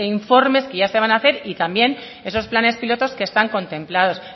informes que ya se van a hacer y también esos planes pilotos que están contemplados